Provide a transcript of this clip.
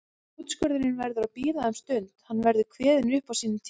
Úrskurðurinn verður að bíða um stund, hann verður kveðinn upp á sínum tíma.